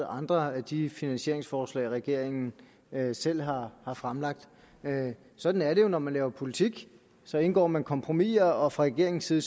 andre af de finansieringsforslag som regeringen selv har fremlagt sådan er det jo når man laver politik så indgår man kompromiser og fra regeringens side